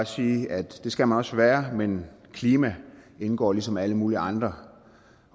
sige at det skal man også være men klima indgår ligesom alle mulige andre